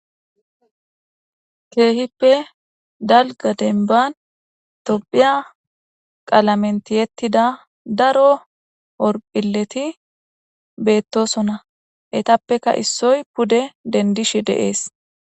keehippe dalga denban topiya qalamen tiyettida daro orphileti beettosona etappeka issoy pude dendish de'ees